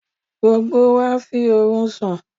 Gbogbo wa fi òru sùn.